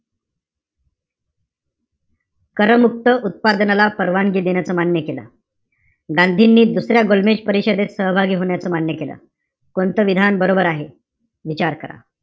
करमुक्त उत्पादनाला परवानगी देण्याचं मान्य केलं. गांधींनी दसऱ्या गोलमेज परिषदेत सहभागी होण्याचं मान्य केलं. कोणतं विधान बरोबर आहे? विचार करा.